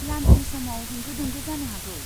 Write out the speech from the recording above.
लान्सनि समाव होंगो दोंगो जानो हागौ।